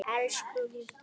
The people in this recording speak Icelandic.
Elsku Gísli.